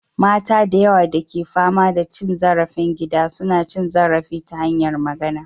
Mata da yawa da ke fama da cin zarafin gida suna cin zarafi ta hanyar magana.